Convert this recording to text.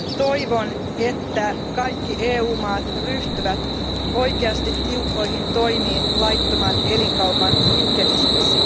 toivon, että kaikki EU maat ryhtyvät todellakin tiukkoihin toimiin laittoman elinkaupan kitkemiseksi.